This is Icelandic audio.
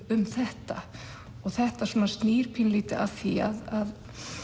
um þetta þetta svona snýr pínulítið að því að